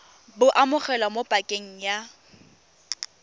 bo amogelwa mo pakeng ya